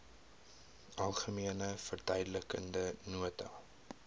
algemene verduidelikende nota